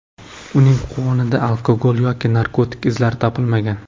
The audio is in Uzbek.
Uning qonida alkogol yoki narkotik izlari topilmagan.